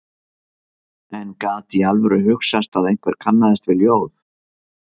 En gat í alvöru hugsast að einhver kannaðist við ljóð